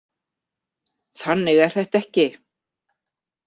Þannig er þetta ekki.